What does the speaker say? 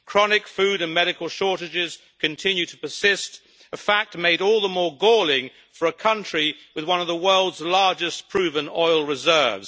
Chronic food and medical shortages continue to persist, a fact made all the more galling for a country with one of the world's largest proven oil reserves.